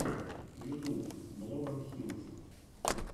ютуб блогонхилс